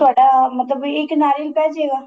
ਤੇ ਤੁਹਾਡਾ ਮਤਲਬ ਕੀ ਇੱਕ ਨਾਰੀਅਲ ਪੈ ਜੇ ਗਾ